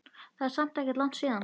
Það er samt ekkert langt síðan.